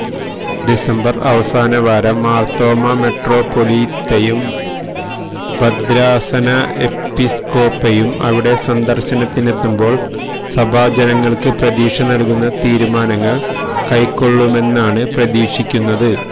December അവസാന വാരം മാർത്തോമാ മെട്രോപോലിത്തയും ഭദ്രാസന എപ്പിസ്കോപ്പയും ഇവിടെ സന്ദർശനത്തിനെത്തുമ്പോൾ സഭാജനങ്ങൾക് പ്രതീക്ഷ നൽകുന്ന തീരുമാനങ്ങൾ കൈകൊള്ളുമെന്നാണ് പ്രതീക്ഷിക്കുന്നത്